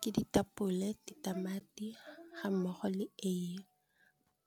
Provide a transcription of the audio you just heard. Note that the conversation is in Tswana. Ke ditapole ditamati ga mmogo le eiye